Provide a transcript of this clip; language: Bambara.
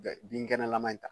Binkɛnɛlama in ta.